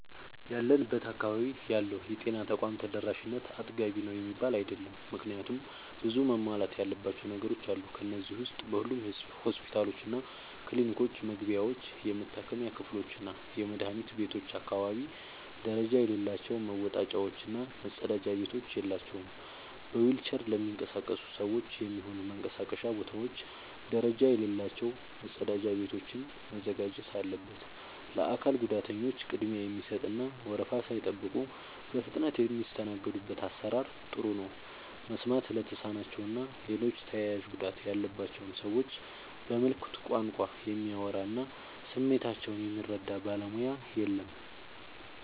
ያለንበት አካባቢ ያለው የጤና ተቋም ተደራሽነት አጥጋቢ ነው የሚባል አይደለም። ምክንያቱም ብዙ መሟላት ያለባቸው ነገሮች አሉ። ከነዚህ ዉስጥ በሁሉም ሆስፒታሎችና ክሊኒኮች መግቢያዎች፣ የመታከሚያ ክፍሎችና የመድኃኒት ቤቶች አካባቢ ደረጃ የሌላቸው መወጣጫዎች እና መጸዳጃ ቤቶች የላቸውም። በዊልቸር ለሚንቀሳቀሱ ሰዎች የሚሆኑ መንቀሳቀሻ ቦታዎች ደረጃ የሌላቸው መጸዳጃ ቤቶችን ማዘጋጀት አለበት። ለአካል ጉዳተኞች ቅድሚያ የሚሰጥ እና ወረፋ ሳይጠብቁ በፍጥነት የሚስተናገዱበት አሰራር ጥሩ ነው። መስማት ለተሳናቸው እና ሌሎች ተያያዥ ጉዳት ያለባቸውን ሰዎች በምልክት ቋንቋ የሚያወራ እና ስሜታቸውን የሚረዳ ባለሙያ የለም።